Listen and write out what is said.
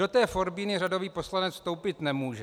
Do té forbíny řadový poslanec vstoupit nemůže.